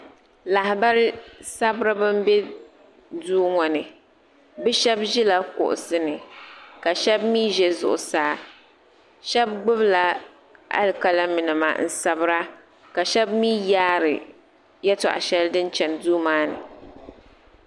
Lahabali sabiriba n bɛ duu ŋɔ ni bi shɛba ʒila kuɣusi ni ka shɛba mi ʒɛ zuɣusaa shɛba gbubi la alikalimi nima n sabira ka shɛba mi yaari yɛltɔɣa shɛli din chani duu maa ni.